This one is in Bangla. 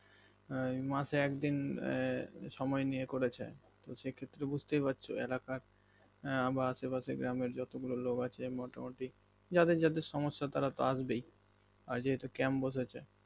মাসে একদিন এ সময় নিয়েও করেছে তো সেক্ষেত্রে তো বুজতেই পারছো এলাকার আবার আশেপাশে গ্রামের যতগুলো লোক আছে মোটা মতি যাদের যাদের সমস্যা তারা তো আসবেই আর যেহেতু camp বসেছে